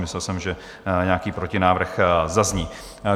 Myslel jsem, že nějaký protinávrh zazní.